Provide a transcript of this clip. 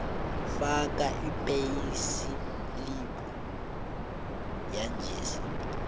faka ipheyisilibhu yanjesi